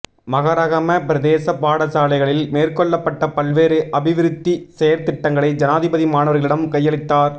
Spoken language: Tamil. மஹரகம பிரதேச பாடசாலைகளில் மேற்கொள்ளப்பட்ட பல்வேறு அபிவிருத்தி செயற்திட்டங்களை ஜனாதிபதி மாணவர்களிடம் கையளித்தார்